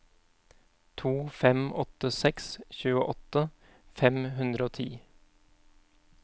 to fem åtte seks tjueåtte fem hundre og ti